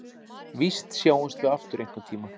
Víst sjáumst við aftur einhverntíma.